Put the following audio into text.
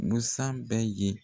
Musan bɛ yen.